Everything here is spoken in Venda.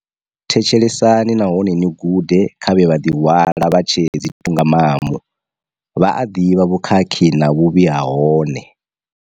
Thetshelesani nahone ni gude kha vhe vha ḓihwala vha tshe dzi thungamamu. Vha a ḓivha vhukhakhi na vhuvhi ha hone.